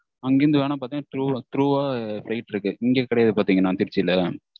அங்கிருந்து பாத்திங்கண்ணா through வா flight இருக்கு. இங்க கிடையாது பாத்திங்கண்ணா திருச்சியில